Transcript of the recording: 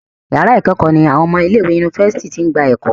yàrá ikẹkọ ní àwọn ọmọ ilé ìwé Yunifásitìni t'in gbà eko.